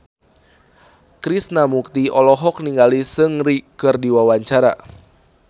Krishna Mukti olohok ningali Seungri keur diwawancara